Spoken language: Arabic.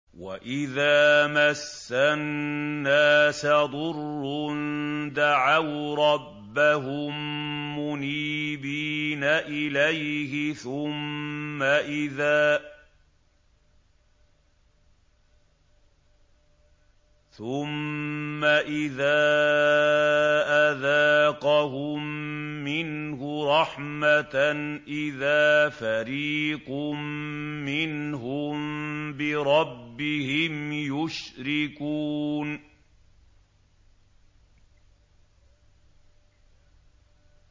وَإِذَا مَسَّ النَّاسَ ضُرٌّ دَعَوْا رَبَّهُم مُّنِيبِينَ إِلَيْهِ ثُمَّ إِذَا أَذَاقَهُم مِّنْهُ رَحْمَةً إِذَا فَرِيقٌ مِّنْهُم بِرَبِّهِمْ يُشْرِكُونَ